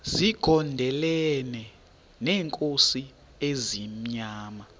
zigondelene neenkosi ezimnyama